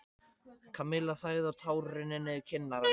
Kamilla þagði og tár runnu niður kinnar hennar.